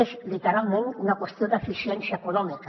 és literalment una qüestió d’eficiència econòmica